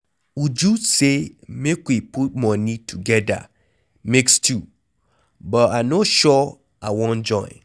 Uju say make we put money together make stew, but I no sure I wan join.